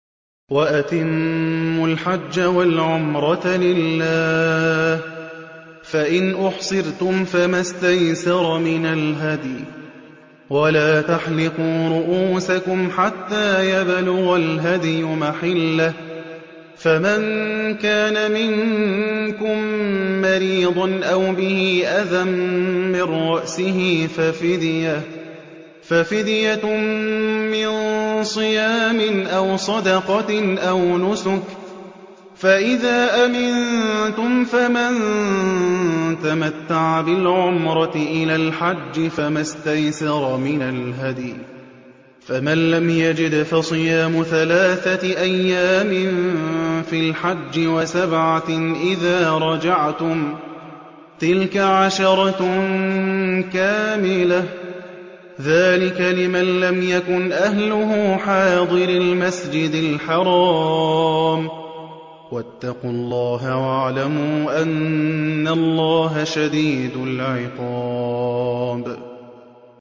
وَأَتِمُّوا الْحَجَّ وَالْعُمْرَةَ لِلَّهِ ۚ فَإِنْ أُحْصِرْتُمْ فَمَا اسْتَيْسَرَ مِنَ الْهَدْيِ ۖ وَلَا تَحْلِقُوا رُءُوسَكُمْ حَتَّىٰ يَبْلُغَ الْهَدْيُ مَحِلَّهُ ۚ فَمَن كَانَ مِنكُم مَّرِيضًا أَوْ بِهِ أَذًى مِّن رَّأْسِهِ فَفِدْيَةٌ مِّن صِيَامٍ أَوْ صَدَقَةٍ أَوْ نُسُكٍ ۚ فَإِذَا أَمِنتُمْ فَمَن تَمَتَّعَ بِالْعُمْرَةِ إِلَى الْحَجِّ فَمَا اسْتَيْسَرَ مِنَ الْهَدْيِ ۚ فَمَن لَّمْ يَجِدْ فَصِيَامُ ثَلَاثَةِ أَيَّامٍ فِي الْحَجِّ وَسَبْعَةٍ إِذَا رَجَعْتُمْ ۗ تِلْكَ عَشَرَةٌ كَامِلَةٌ ۗ ذَٰلِكَ لِمَن لَّمْ يَكُنْ أَهْلُهُ حَاضِرِي الْمَسْجِدِ الْحَرَامِ ۚ وَاتَّقُوا اللَّهَ وَاعْلَمُوا أَنَّ اللَّهَ شَدِيدُ الْعِقَابِ